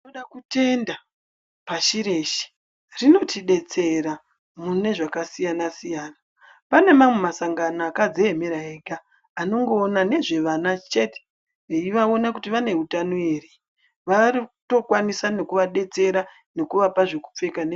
Tinoda kutenda pashi reshe rinotidetsera munezvakasiyana-siyana. Pane mamwe masangano akadziemera ega anongoona nezvevana chete, eivaona kuti vane utano ere, varikutokwanisa nekuvadetsera nekuvapa nezve kupfeka nekufuka.